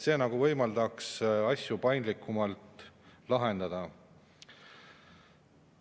See võimaldaks asju paindlikumalt lahendada.